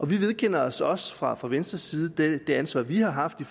vi vedkender os også fra fra venstres side det ansvar vi har haft i